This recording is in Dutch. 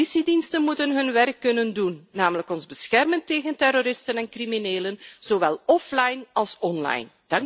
Politiediensten moeten hun werk kunnen doen, namelijk ons beschermen tegen terroristen en criminelen, zowel offline als online.